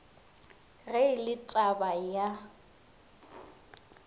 ge e le taba ya